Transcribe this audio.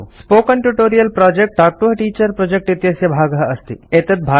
spoken tutorial project talk to a teacher project इत्यस्य भागः अस्ति